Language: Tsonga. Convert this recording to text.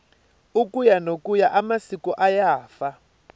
ukuya nokuya amasiko ayafa